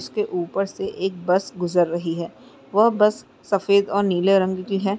उसके ऊपर से एक बस गुज़र रही है। वह बस सफेद और नीले रंग की है।